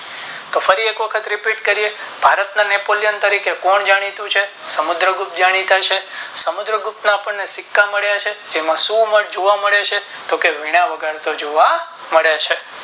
તો ફરી એક વખત Repeat કરીયે ભારત ના નેપોલિયન તરીકે કોણ જાણીતું છે સમુદ્ર ગુપ્ત જણીતા છે સમુદ્ર ગુપ્ત ના આપણે સિક્કા મલ્યા છેતેમાં શું વગાડતો જોવા મળે છે તો કે વીણા વગાડતો જોવા મળે છે.